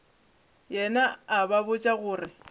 yena a ba botša gore